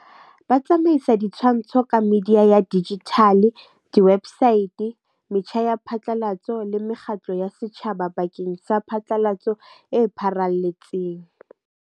Ba tsamaisa ditshwantsho ka media ya digital di-website metjha ya phatlalatso le mekgatlo ya setjhaba bakeng sa phatlalatso e pharalletseng.